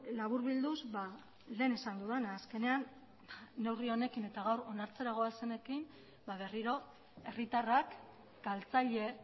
laburbilduz lehen esan dudana azkenean neurri honekin eta gaur onartzera goazenekin berriro herritarrak galtzaile